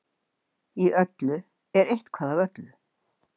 Í öllu er eitthvað af öllu.